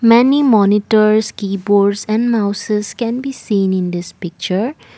many monitors keyboards and mouses can be seen in this picture.